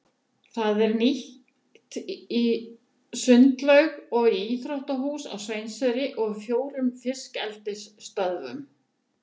Það er nýtt í sundlaug og íþróttahús á Sveinseyri og í fjórum fiskeldisstöðvum.